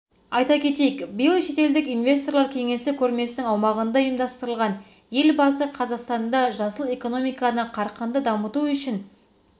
айта кетейік биыл шетелдік инвесторлар кеңесі көрмесінің аумағында ұйымдастырылған елбасы қазақстанда жасыл экономиканы қарқынды дамыту үшін